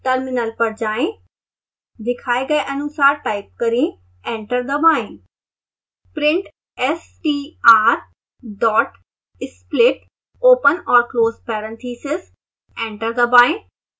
terminal पर जाएं